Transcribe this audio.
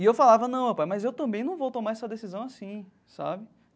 E eu falava, não, pai, mas eu também não vou tomar essa decisão assim, sabe?